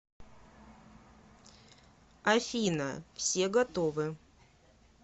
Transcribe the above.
афина все готовы